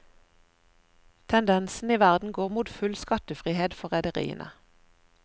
Tendensen i verden går mot full skattefrihet for rederiene.